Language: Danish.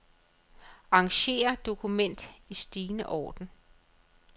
Arranger dokument i stigende orden.